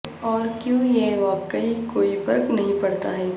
اور کیوں یہ واقعی کوئی فرق نہیں پڑتا ہے